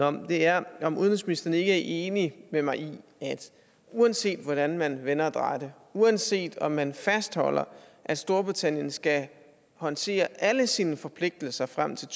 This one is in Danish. om er om udenrigsministeren ikke er enig med mig i at uanset hvordan man vender og drejer det uanset om man fastholder at storbritannien skal håndtere alle sine forpligtelser frem til